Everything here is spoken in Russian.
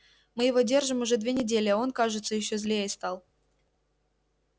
мы его держим уже две недели а он кажется ещё злее стал